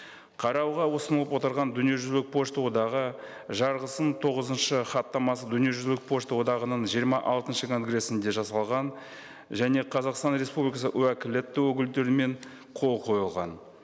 қарауға ұсынылып отырған дүниежүзілік пошта одағы жарғысын тоғызыншы хаттамасы дүниежүзілік пошта одағының жиырма алтыншы конгресінде жасалған және қазақстан республикасы уәкілетті өкілдерімен қол қойылған